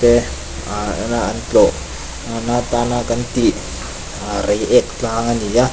te tlawh nana tana kan tih ah reiek tlang ani a.